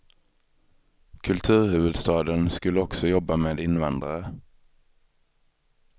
Kulturhuvudstaden skulle också jobba med invandrare.